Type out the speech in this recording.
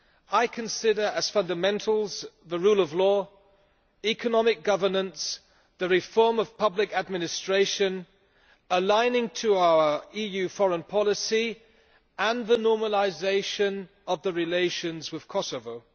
I consider as fundamentals the rule of law, economic governance, the reform of public administration, aligning to our EU foreign policy and the normalisation of relations with Kosovo.